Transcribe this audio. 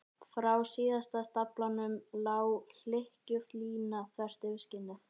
Frá síðasta stafnum lá hlykkjótt lína þvert yfir skinnið.